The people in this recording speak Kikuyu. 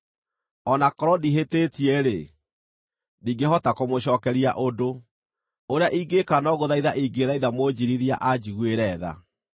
O na korwo ndihĩtĩtie-rĩ, ndingĩhota kũmũcookeria ũndũ; ũrĩa ingĩĩka no gũthaitha ingĩthaitha Mũnjiirithia anjiguĩre tha.